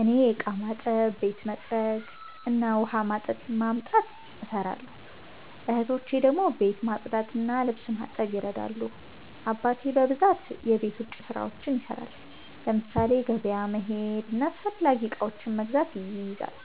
እኔ እቃ ማጠብ፣ ቤት መጥረግ እና ውሃ ማምጣት እሰራለሁ። እህቶቼ ደግሞ ቤት ማጽዳትና ልብስ ማጠብ ይረዳሉ። አባቴ በብዛት የቤት ውጭ ስራዎችን ይሰራል፤ ለምሳሌ ገበያ መሄድና አስፈላጊ እቃዎችን መግዛት ይይዛል።